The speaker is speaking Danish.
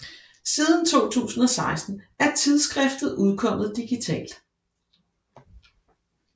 Siden 2016 er tidsskriftet udkommet digitalt